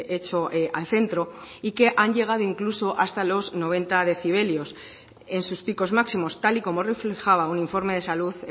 he hecho al centro y que han llegado incluso hasta los noventa decibelios en sus picos máximos tal y como reflejaba un informe de salud